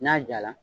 N'a jala